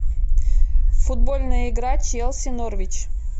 футбольная игра челси норвич